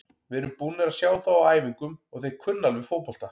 Við erum búnir að sjá þá á æfingum og þeir kunna alveg fótbolta.